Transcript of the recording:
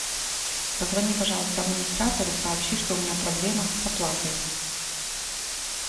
позвони пожалуйста администратору и сообщи что у меня проблема с оплатой